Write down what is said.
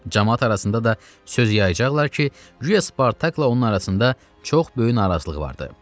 Camaat arasında da söz yayacaqlar ki, guya Spartakla onun arasında çox böyük narazılıq vardır.